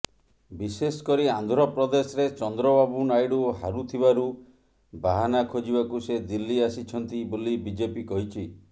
ବିଶେଷ କରି ଆନ୍ଧ୍ରପ୍ରଦେଶରେ ଚନ୍ଦ୍ରବାବୁ ନାଇଡୁ ହାରୁଥିବାରୁ ବାହାନା ଖୋଜିବାକୁ ସେ ଦିଲ୍ଲୀ ଆସିଛନ୍ତି ବୋଲି ବିଜେପି କହିଛି